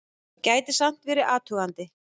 Gæti samt verið athugandi!